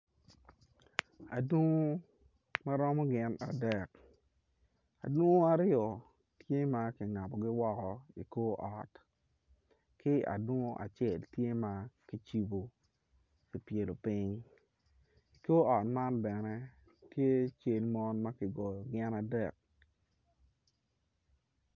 Adongu maromo gin adek adungu aryo tye ma kingabogi woko i kor ot ki adungu acel tye ma kicibo kipyelopiny kor ot man bene tye cel mon ma kigoyo gin adek.